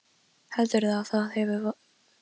Heldurðu að það hafi verið vit í þessu?